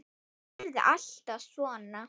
Yrði alltaf svona.